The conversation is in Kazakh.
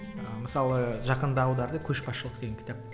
ыыы мысалы жақында аударды көшбасшылық деген кітап